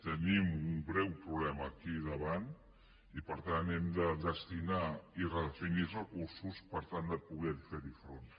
tenim un greu problema aquí davant i per tant hem de destinar i redefinir els recursos per tal de poder hi fer front